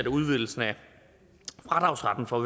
at udvidelsen af fradragsretten for